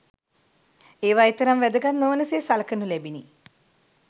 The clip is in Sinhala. ඒවා එතරම් වැදගත් නොවන සේ සලකනු ලැබිනි.